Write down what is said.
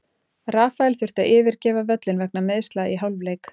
Rafael þurfti að yfirgefa völlinn vegna meiðsla í hálfleik.